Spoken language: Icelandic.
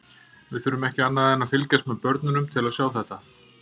Við þurfum ekki annað en að fylgjast með börnum til að sjá þetta.